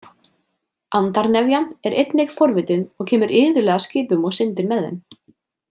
Andarnefjan er einnig forvitin og kemur iðulega að skipum og syndir með þeim.